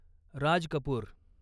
Raj Kapoor